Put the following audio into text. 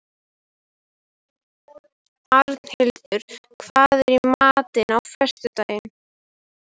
Arnhildur, hvað er í matinn á föstudaginn?